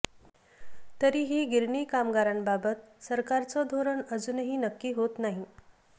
तरीही गिरणी कामगारांबाबत सरकारचं धोरण अजूनही नक्की होत नाही